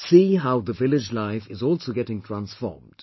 See, how the village life is also getting transformed